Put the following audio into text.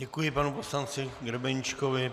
Děkuji panu poslanci Grebeníčkovi.